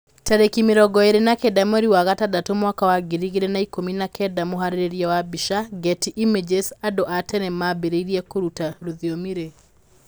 Tariki mĩrongo ĩrĩ na kenda mweri wa gatandatu mwaka wa ngiri igĩrĩ na ikũmi na kenda Mũharĩrĩria wa mbica, Getty Images Andũ a tene maambĩrĩirie kũruta rũthiomi rĩ?